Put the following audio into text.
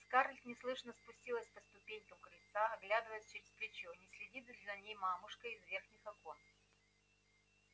скарлетт неслышно спустилась по ступенькам крыльца оглядываясь через плечо не следит ли за ней мамушка из верхних окон